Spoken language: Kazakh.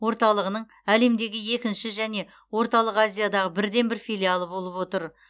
орталығының әлемдегі екінші және орталық азиядағы бірден бір филиалы болып отыр